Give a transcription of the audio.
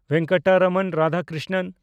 Venkataraman Radhakrishnan